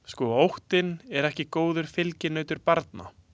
Sko óttinn er ekki góður fylginautur barna.